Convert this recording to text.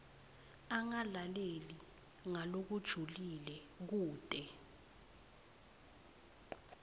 angalaleli ngalokujulile kute